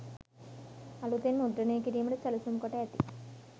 අලුතෙන් මුද්‍රණය කිරීමට සැලසුම් කොට ඇති